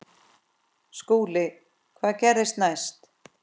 SKÚLI: Hvað gerðist næst?